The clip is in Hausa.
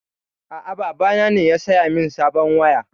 A'a, baba na ne ya saya min sabon waya.